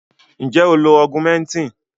Nje o lo augmentin?